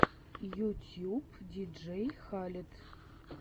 ютьюб диджей халед